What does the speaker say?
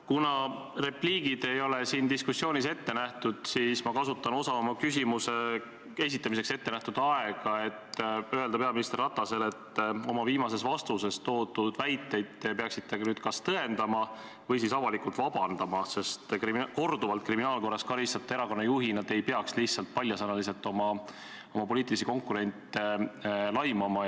Kuna repliigid ei ole siin diskussioonis ette nähtud, siis ma kasutan osa oma küsimuse esitamiseks ettenähtud ajast selleks, et öelda peaminister Ratasele, et oma viimases vastuses toodud väiteid te peaksite nüüd küll kas tõendama või siis avalikult vabandust paluma, sest korduvalt kriminaalkorras karistatud erakonna juhina ei peaks te lihtsalt paljasõnaliselt oma poliitilisi konkurente laimama.